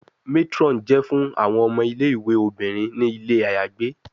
Matron jẹ fun awọn omo Ile-iwe. obinrin ni ile ayagbe